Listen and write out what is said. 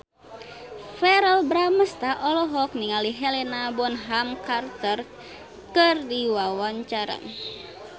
Verrell Bramastra olohok ningali Helena Bonham Carter keur diwawancara